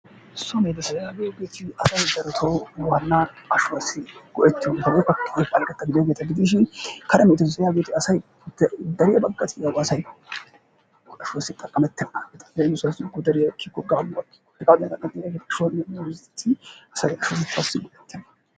So medoosata giyoogeeti asay daroto waanna ashuwasi go''etiyoogeeta gidishin kare medoosata yagiyoogeeti asay dariya baggati yaw asay ashuwassi xaqqamettenaageeti leemissuwassi godariya ekkiko, gaamuwa ekkiko asay ashshotettassi go''ettena.